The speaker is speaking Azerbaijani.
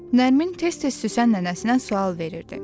Nərmin tez-tez Süsən nənəsinə sual verirdi.